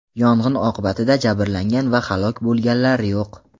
Yong‘in oqibatida jabrlangan va halok bo‘lganlar yo‘q.